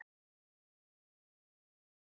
Brandr, hvernig er dagskráin?